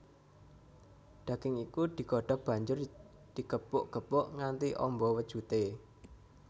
Daging iku digodhog banjur digepuk gepuk nganti amba wujudé